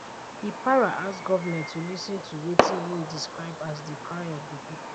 e para as goment to lis ten to wetin e describe as di cry of di pipo